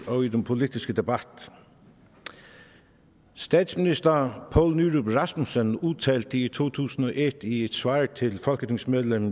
og i den politiske debat statsminister poul nyrup rasmussen udtalte i to tusind og et i et svar til folketingsmedlem